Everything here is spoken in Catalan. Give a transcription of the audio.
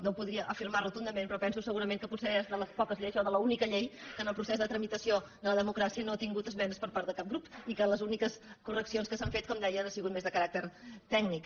no ho podria afirmar rotundament però penso segurament que potser és de les poques lleis o l’única llei que en el procés de tramitació de la democràcia no ha tingut esmenes per part de cap grup i que les úniques correccions que s’hi han fet com deia han sigut més de caràcter tècnic